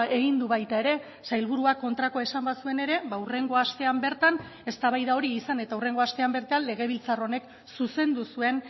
egin du baita ere sailburuak kontrakoa esan bazuen ere hurrengo astean bertan eztabaida hori izan eta hurrengo astean bertan legebiltzar honek zuzendu zuen